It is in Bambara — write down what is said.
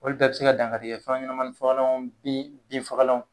Olu bɛɛ be se ka dankari kɛ fɛn ɲɛnamani fagalan bin bin fagalanw .